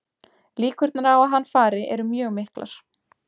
Líkurnar á að hann fari eru mjög miklar.